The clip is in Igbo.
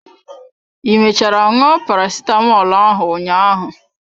I mechara ṅụọ parasitamọl ahụ ụnyaahụ?